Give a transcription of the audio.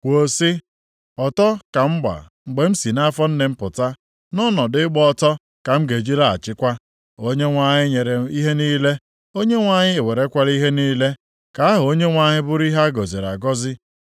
kwuo sị: “Ọtọ ka m gba mgbe m si nʼafọ nne m pụta nʼọnọdụ ịgba ọtọ ka m ga-eji laghachikwa. Onyenwe anyị nyere ihe niile, Onyenwe anyị ewerekwala ihe niile, ka aha Onyenwe anyị bụrụ ihe a gọziri agọzi.”